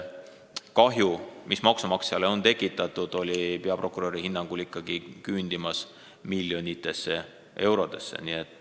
Kahju, mis on maksumaksjale tekitatud, küündib peaprokuröri hinnangul ikkagi miljonitesse eurodesse.